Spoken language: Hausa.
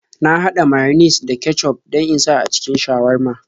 Na haɗa mayones da kecuf don in sa a cikin shawarma.